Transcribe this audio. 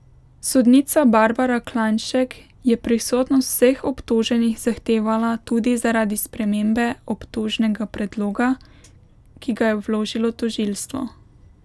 Sodnica Barbara Klajnšek je prisotnost vseh obtoženih zahtevala tudi zaradi spremembe obtožnega predloga, ki ga je vložilo tožilstvo.